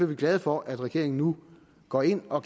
vi glade for at regeringen nu går ind og